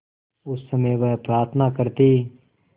उस समय वह प्रार्थना करती